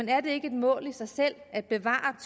er det ikke et mål i sig selv at bevare